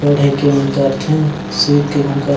पढ़ई कें मन करथे सूत के एमन करथे।